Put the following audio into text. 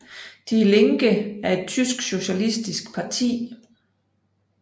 Die Linke er et tysk socialistisk parti